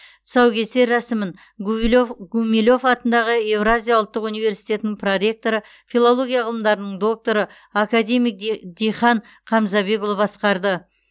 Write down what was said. тұсаукесер рәсімін гумилев атындағы еуразия ұлттық университетінің проректоры филология ғылымдарының докторы академик дихан қамзабекұлы басқарды